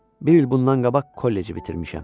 Bir il bundan qabaq kolleci bitirmişəm.